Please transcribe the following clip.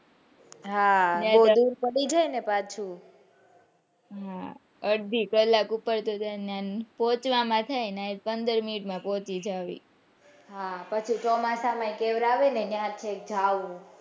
હા દૂર પડી જાય ને પાછું હમ અડધી કલાક ઉપર તો પહોંચવામાં જાય પંદર minute માં પહોચીસ જવી પછી ચોમાસામાં કેવડાવે ને કે ત્યાં છેક જાઉં,